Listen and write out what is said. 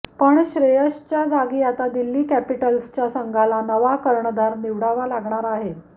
पण श्रेयसच्या जागी आता दिल्ली कॅपिटल्सच्या संघाला नवा कर्णधार निवडावा लागणार आहे